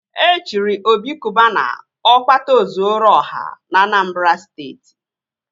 E chiri Obi Cubana Ọkpata ọ zuoru ọha na Anambra Steeti